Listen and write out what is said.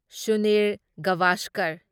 Sunil Gavaskar